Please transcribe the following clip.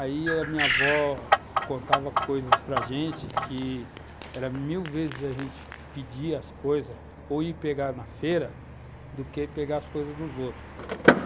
Aí a minha avó contava coisas para gente que era mil vezes a gente pedir as coisas, ou ir pegar na feira, do que pegar as coisas dos outros.